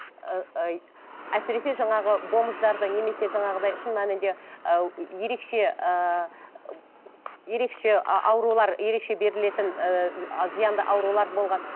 ыыы ы әсіресе жаңағы бомждарды немесе жаңағыдай шын мәнінде ы ерекше ыыы ерекше аурулар ерекше берілетін ііі зиянды аурулар болған